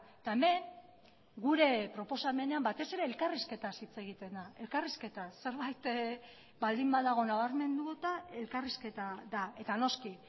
eta hemen gure proposamenean batez ere elkarrizketaz hitz egiten da elkarrizketaz zerbait baldin badago nabarmenduta elkarrizketa da eta noski